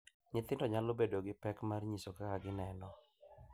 Nyithindo nyalo bedo gi pek mar nyiso kaka gineno